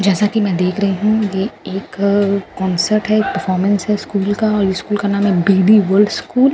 जैसा कि मैं देख रही हूं ये एक क कॉन्‍सेट है एक परफोमेन्‍स है स्‍कूल का और इस स्‍कूल का नाम है बी_डी बल्‍ड स्‍कूल ।